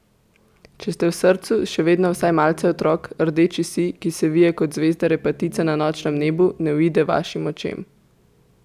Če ste v srcu še vedno vsaj malce otrok, rdeči sij, ki se vije kot zvezda repatica na nočnem nebu, ne uide vašim očem.